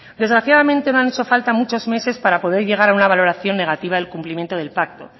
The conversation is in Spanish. desgraciadamente no han hecho falta muchos meses para poder llegar a una valoración negativa del cumplimiento del pacto